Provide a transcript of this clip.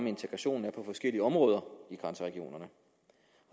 integrationen er på forskellige områder i grænseregionerne